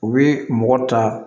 U bɛ mɔgɔ ta